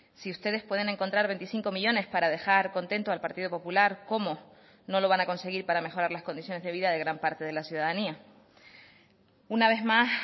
si ustedes pueden encontrar veinticinco millónes para dejar contento al partido popular cómo no lo van a conseguir para mejorar las condiciones de vida de gran parte de la ciudadanía una vez más